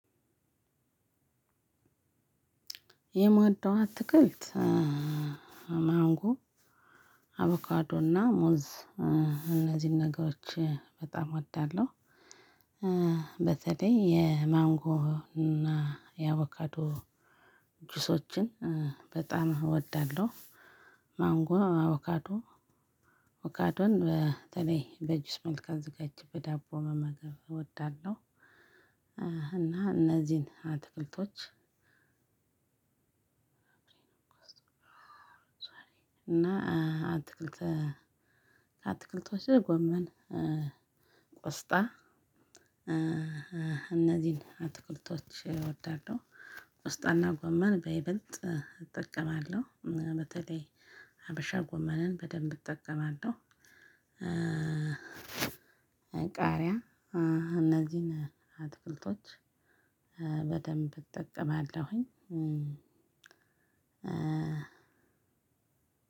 የምወደው አትክልት ማንጎ አቩካዶና ሙዝ እነዚህን ነገሮች በጣም አወዳለው። በተለይ የማንጎና የአቩካዶ ጁሶችን በጣም እወዳለሁ። ማንጎ አቩካዶ አቩካዶን በተለይ በጁስ መልካ አዘጋጅቼ በዳቦ መመገብ እወዳለሁ። እና እነዚህን አትክልቶች። እና አትክልት አትክልት ወስጥ ጎመን ቆስጣ እነዚህን አትኩልቶች እወዳለሁ። ቆስጥና ጎመን በይበልጥ እጠቀማለሁ በተለይ ሀበሻ ጎመንን በደንብ እጠቀማለሁ። ቃሪያ እነዚህን አትክልቶች በደንብ እጠቀማለሁኝ።